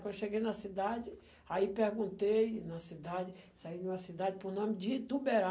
Quando eu cheguei na cidade, aí perguntei na cidade, saí de uma cidade por nome de Ituberá.